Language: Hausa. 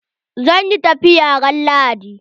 Zan yi tafiya ran Lahadi.